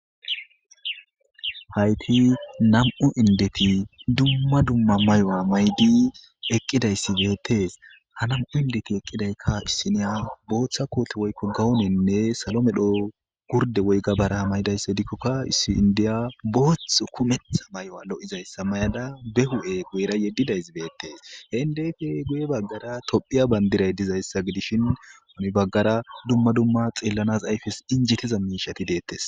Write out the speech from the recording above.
Haytti nam'u inddeti dumma dumms maayo mayidi eqqidayssi bettes ha nam'u inddeti eqqidayka issiniya boththa booththa kohote woykko gawonene salo medho gurde woy gabare mayadayssa giddikoka issi inddiya booththa kumetha mayo loizayssa mayada be huphphe guyera yedidayssi bettes he indeyippe guye bagara tophphiya bandiray dizayssa gidishin heni baggera dumma dumma xallanas ayffes injjetiza mishsheti dettes.